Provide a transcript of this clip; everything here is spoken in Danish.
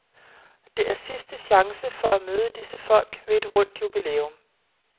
Det er sidste chance for at møde disse folk ved et rundt jubilæum.